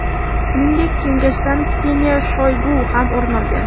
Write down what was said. Shuningdek, kengashdan Kseniya Shoygu ham o‘rin olgan.